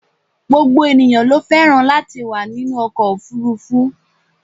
gbogbo ènìyàn ló fẹ́ràn latí wà ninú ọkọ̀ òfurufú